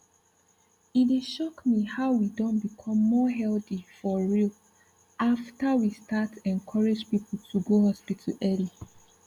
e dey shock me how we don become more healthy for real after we start encourage people to go hospital early